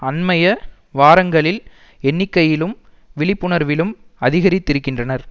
அண்மைய வாரங்களில் எண்ணிக்கையிலும் விழிப்புணர்விலும் அதிகரித்திருக்கின்றனர்